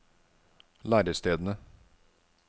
lærestedene